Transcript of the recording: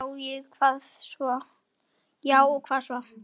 Já og hvað svo?